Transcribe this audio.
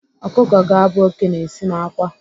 Ọkụkọ ga-abụ oké na-esi n'àkwá.